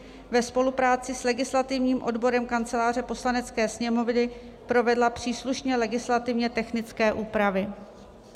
ve spolupráci s legislativním odborem Kanceláře Poslanecké sněmovny provedla příslušně legislativně technické úpravy.